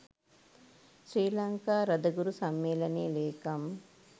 ශ්‍රී ලංකා රදගුරු සම්මේලනයේ ලේකම්